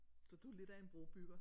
Så du er lidt af en brobygger